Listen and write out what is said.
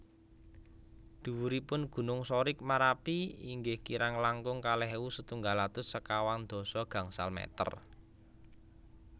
Dhuwuripun gunung Sorik Marapi inggih kirang langkung kalih ewu setunggal atus sekawang dasa gangsal meter